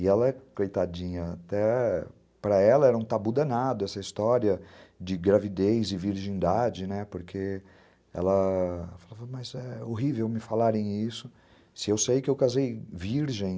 E ela, coitadinha, até para ela era um tabu danado essa história de gravidez e virgindade, né, porque ela falava, mas é horrível me falarem isso, se eu sei que eu casei virgem.